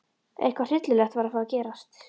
Eitthvað hryllilegt var að fara að gerast.